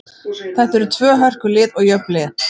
Þetta eru tvö hörku lið og jöfn lið.